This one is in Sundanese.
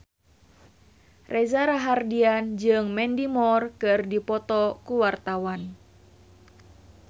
Reza Rahardian jeung Mandy Moore keur dipoto ku wartawan